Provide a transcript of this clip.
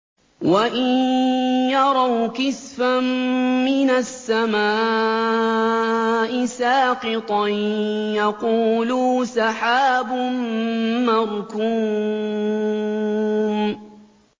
وَإِن يَرَوْا كِسْفًا مِّنَ السَّمَاءِ سَاقِطًا يَقُولُوا سَحَابٌ مَّرْكُومٌ